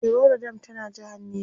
shiroro dam tana jehar neja